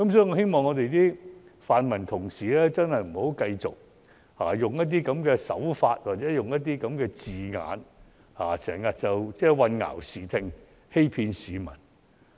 我希望泛民議員不要用這樣的手法或這樣的字眼混淆視聽，欺騙市民。